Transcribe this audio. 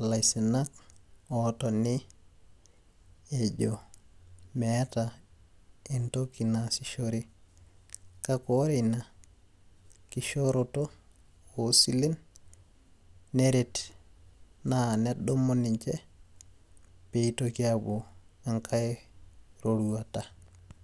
ilaisinak otoni ejo meeta entoki naasishore. Kake ore ina kishooroto osilen, neret naa nedumu ninche, pitoki apuo enkae roruata.